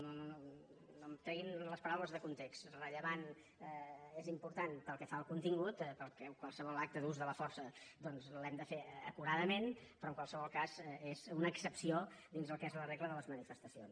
i no em treguin les paraules de context rellevant és important pel que fa al contingut perquè qualsevol acte d’ús de la força doncs l’hem de fer acuradament però en qualsevol cas és una excepció dins el que és la regla de les manifestacions